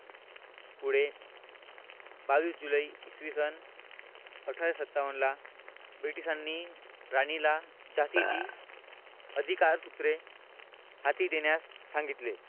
पुढे बावीस जुलै इसवी सन अठराशे सत्तावन्न ला Britsh नी राणीला झाशीची अधिकार सूत्रे हाती देण्यास सांगितले.